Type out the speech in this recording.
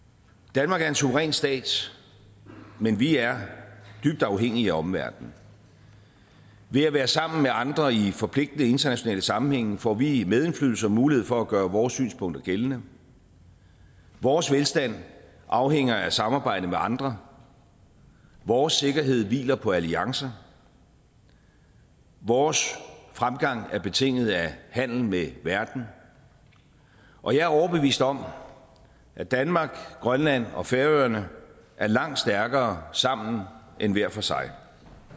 danmark er en suveræn stat men vi er dybt afhængige af omverdenen ved at være sammen med andre i forpligtende internationale sammenhænge får vi medindflydelse og mulighed for at gøre vores synspunkter gældende vores velstand afhænger af samarbejdet med andre vores sikkerhed hviler på alliancer vores fremgang er betinget af handel med verden og jeg er overbevist om at danmark grønland og færøerne er langt stærkere sammen end hver for sig